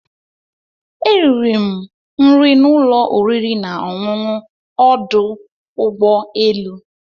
Eriri m nri n'ụlọ oriri na ọṅụṅụ ọdụ ụgbọ elu.